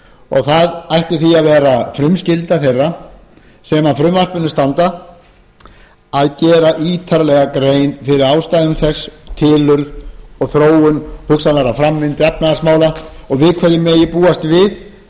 og það ætti því að vera frumskylda þeirra sem að frumvarpinu standa að gera ítarlega grein fyrir ástæðum þess tilurð og þróun hugsanlegrar framvindu efnahagsmála og við hverju megi búast